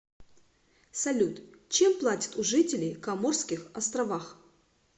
салют чем платят у жителей коморских островах